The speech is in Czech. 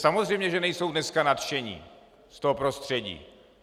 Samozřejmě že nejsou dneska nadšení z toho prostředí.